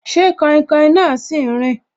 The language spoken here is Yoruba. Ṣé kainkain náà si n rin